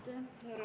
Aitäh!